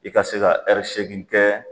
E ka se ka ɛri segin kɛ